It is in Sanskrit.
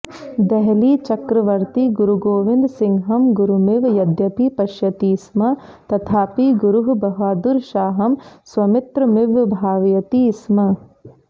देहलीचक्रवर्ती गुरुगोविन्दसिंहं गुरुमिव यद्यपि पश्यति स्म तथापि गुरुः बहदुरशाहं स्वमित्रमिव भावयति स्म